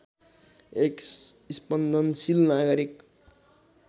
एक स्पन्दनशील नागरिक